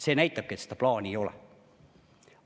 See näitabki, et õiget plaani ei ole.